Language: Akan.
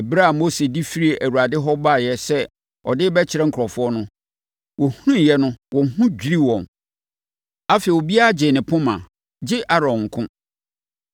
Ɛberɛ a Mose de firii Awurade hɔ baeɛ sɛ ɔde rebɛkyerɛ nkurɔfoɔ no, wɔhunuiɛ no, wɔn ho dwirii wɔn. Afei, obiara gyee ne poma, gye Aaron nko.